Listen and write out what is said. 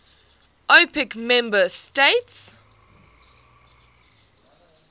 opec member states